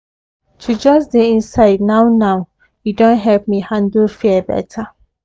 to just dey inside now now e don help me handle fear better